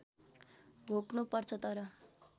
घोक्नु पर्छ तर